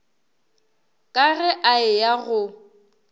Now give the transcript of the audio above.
ka ge a eya go